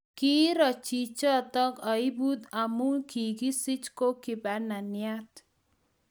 Kiiro chichotok aibut amu kikisich ko kibananiat